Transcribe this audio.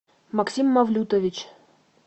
максим мавлютович